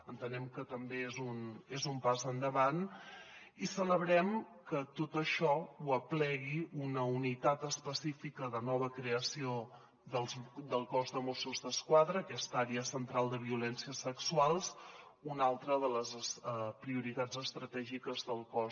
entenem que també és un pas endavant i celebrem que tot això ho aplegui una unitat específica de nova creació del cos de mossos d’esquadra aquesta àrea central de violències sexuals una altra de les prioritats estratègiques del cos